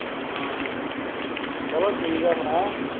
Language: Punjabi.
ਹਾਂ ਹਾਂ ਹਾਂ ਚਲੋ ਠੀਕ ਹੈ ਫੇਰ